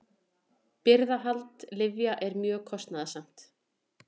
Birgðahald lyfja er mjög kostnaðarsamt.